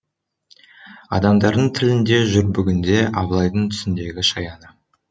адамдардың тілінде жүр бүгінде абылайдың түсіндегі шаяны